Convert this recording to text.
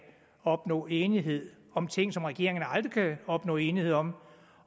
opnå enighed om ting som regeringerne aldrig kan opnå enighed om